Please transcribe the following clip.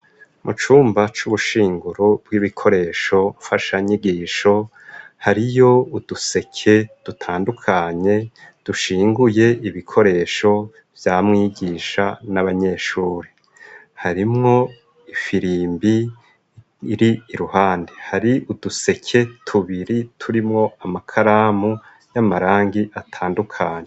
Mu cumba c'ubushinguro bw'ibikoresho mfashanyigisho, hariyo uduseke dutandukanye dushinguye ibikoresho vya mwigisha n'abanyeshuri. Harimwo ifirimbi iri iruhande. Hari uduseke tubiri turimwo amakaramu y'amarangi atandukanye.